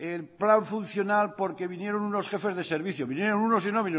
el plan funcional porque vinieron unos jefes de servicio vinieron unos y no